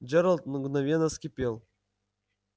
джералд мгновенно вскипел